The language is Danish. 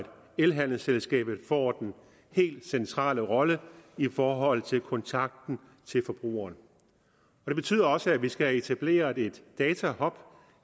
elhandelsselskabet får den helt centrale rolle i forhold til kontakten til forbrugeren det betyder også at vi skal have etableret en datahub